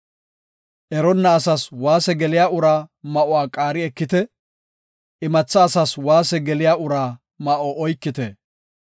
Eronna asas waase geliya uraa ma7uwa qaari ekite; imatha asas waase geliya uraa ma7o oykite.